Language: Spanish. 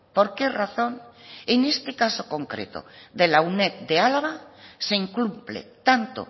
por qué razón en este caso concreto de la uned de álava se incumple tanto